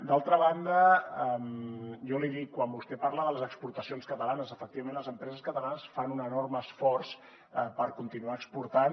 d’altra banda jo l’hi dic quan vostè parla de les exportacions catalanes efectivament les empreses catalanes fan un enorme esforç per continuar exportant